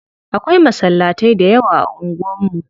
Akwai masallatai da yawa a unguwan mu.